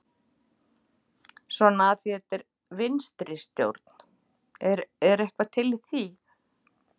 Svona af því að þetta er vinstri stjórn, er eitthvað til í því?